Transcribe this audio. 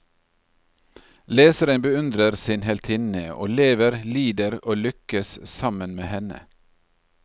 Leseren beundrer sin heltinne og lever, lider og lykkes sammen med sin henne.